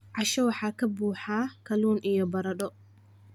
Casho waxa ka buuxa kalluun iyo baradho.